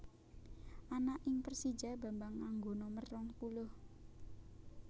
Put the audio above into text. Ana ing Persija Bambang nganggo nomer rong puluh